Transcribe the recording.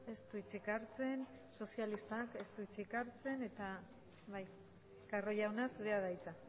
ez du hitzik hartzen sozialistak ez du hitzik hartzen eta bai carro jauna zurea da hitza